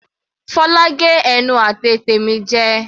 Fola gé ẹnu àti ètè mi jẹ.